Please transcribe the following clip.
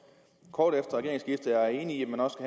kort efter regeringsskiftet er enig i at man også